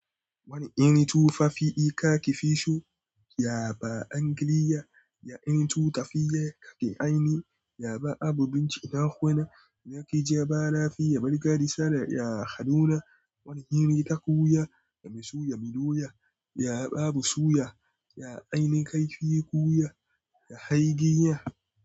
Wane irin tufafi kafi so ya ba angiliya, ya iri tufafi kake aini, ya ba abu bincike hakuna, ya kai jaba lafiya margadi sana, ya haduna wani hiri ta koya, ya misu ya milo ya, ya babu suya, ya aini kaifi koya, ya hai giya.